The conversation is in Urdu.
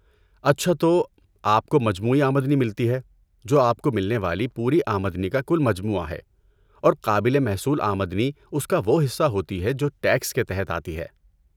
اچھا تو، آپ کو مجموعی آمدنی ملتی ہے، جو آپ کو ملنے والی پوری آمدنی کا کل مجموعہ ہے، اور قابل محصول آمدنی اس کا وہ حصہ ہوتی ہے جو ٹیکس کے تحت آتی ہے۔